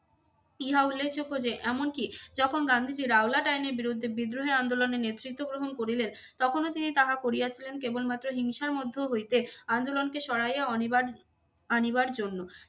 ইহা উল্লেখযোগ্য যে এমনকি যখন গান্ধীজীর রাওলাট আইনের বিরুদ্ধে বিদ্রোহে আন্দোলনের নেতৃত্ব গ্রহণ করিলেন তখনও তিনি তাহা করিয়াছিলেন কেবলমাত্র হিংসার মধ্য হইতে আন্দোলনকে সরাইয়া অনিবার~ আনিবার জন্য।